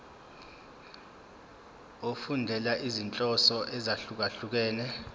efundela izinhloso ezahlukehlukene